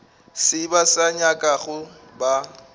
se ba se nyakago ba